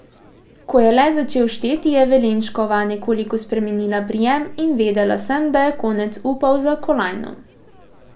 Ko je le začel šteti, je Velenškova nekoliko spremenila prijem in vedela sem, da je konec upov za kolajno.